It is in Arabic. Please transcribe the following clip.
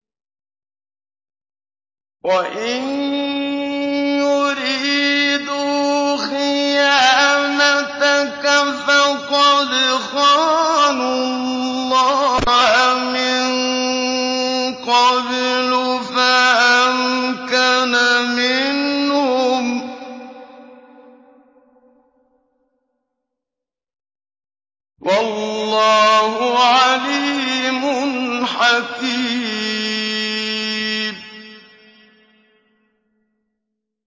وَإِن يُرِيدُوا خِيَانَتَكَ فَقَدْ خَانُوا اللَّهَ مِن قَبْلُ فَأَمْكَنَ مِنْهُمْ ۗ وَاللَّهُ عَلِيمٌ حَكِيمٌ